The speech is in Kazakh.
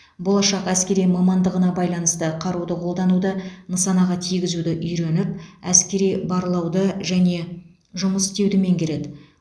болашақ әскери мамандығына байланысты қаруды қолдануды нысанаға тигізуді үйреніп әскери барлауды және жұмыс істеуді меңгереді